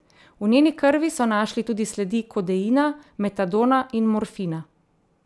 V njeni krvi so našli tudi sledi kodeina, metadona in morfina.